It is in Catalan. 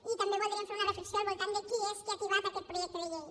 i també voldríem fer una reflexió al voltant de qui és que ha tibat aquest projecte de llei